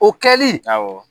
O kɛli, awɔ.